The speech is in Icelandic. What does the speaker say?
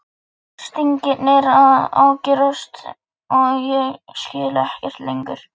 Stingirnir að ágerast og ég skil ekkert lengur.